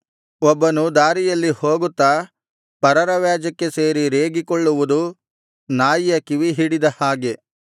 ಒಬ್ಬನು ದಾರಿಯಲ್ಲಿ ಹೋಗುತ್ತಾ ಪರರ ವ್ಯಾಜ್ಯಕ್ಕೆ ಸೇರಿ ರೇಗಿಕೊಳ್ಳುವುದು ನಾಯಿಯ ಕಿವಿಹಿಡಿದ ಹಾಗೆ